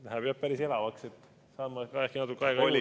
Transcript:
Läheb jah jutt päris elavaks, saan ma ehk natuke aega juurde.